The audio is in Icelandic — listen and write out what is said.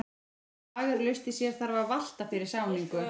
Ef flag er laust í sér þarf að valta fyrir sáningu.